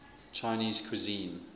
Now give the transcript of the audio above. chinese cuisine